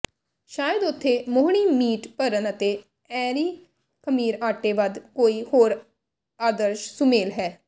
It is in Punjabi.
ਸ਼ਾਇਦ ਉੱਥੇ ਮੋਹਣੀ ਮੀਟ ਭਰਨ ਅਤੇ ਐਰੀ ਖਮੀਰ ਆਟੇ ਵੱਧ ਕੋਈ ਹੋਰ ਆਦਰਸ਼ ਸੁਮੇਲ ਹੈ